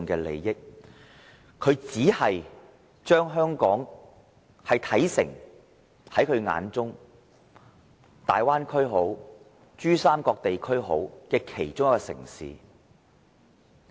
另一方面，他只是將香港視為大灣區或珠三角地區的其中一個城市。